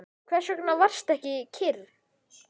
Hvers vegna varstu ekki kyrr?